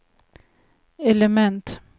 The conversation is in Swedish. element